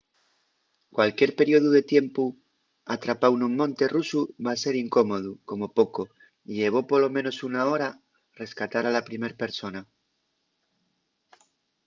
cualquier periodu de tiempu atrapáu nun monte rusu va ser incómodu como poco y llevó polo menos una hora’l rescatar a la primer persona.